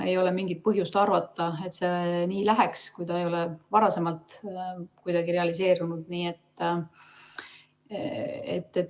Ei ole mingit põhjust arvata, et see nii läheks, kui see ei ole varem kunagi realiseerunud.